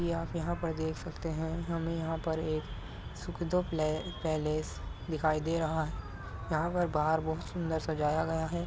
आप यहाँ पर देख सकते हैं हमें यहाँ पर एक पैलेस दिखाई दे रहा है। यहाँ पर बाहर बहुत सुंदर सजाया गया है।